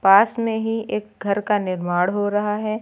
पास में ही एक घर का निर्माण हो रहा है।